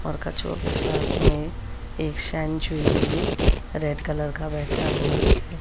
और कछुओं के साथ में एक भी रेड कलर का बैठा हुआ है।